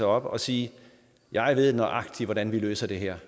op og sige jeg ved nøjagtig hvordan vi løser det her